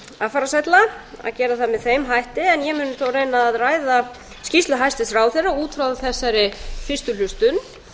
affarasælla en mun þó reyna að ræða skýrslu hæstvirts ráðherra út frá þessari fyrstu hlustun